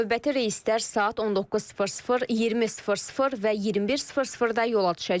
Növbəti reyslər saat 19:00, 20:00 və 21:00-da yola düşəcək.